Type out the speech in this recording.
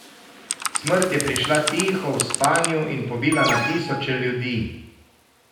Smrt je prišla tiho, v spanju, in pobila na tisoče ljudi.